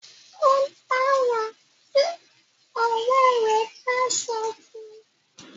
o dára tí òré rẹ bá sọ fún.